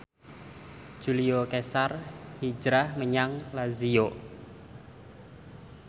Julio Cesar hijrah menyang Lazio